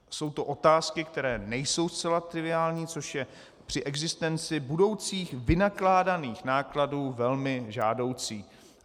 Jsou to otázky, které nejsou zcela triviální, což je při existenci budoucích vynakládaných nákladů velmi žádoucí.